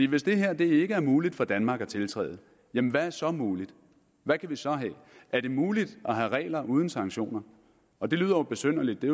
hvis det her ikke er muligt for danmark at tiltræde jamen hvad er så muligt hvad kan vi så have er det muligt at have regler uden sanktioner og det lyder jo besynderligt det